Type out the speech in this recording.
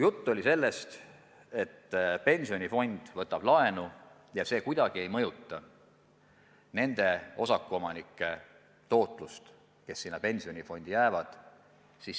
Jutt oli sellest, et pensionifond võtab laenu ja see kuidagi ei mõjuta teise sambasse jäävatele osakuomanikele tagatud tootlust.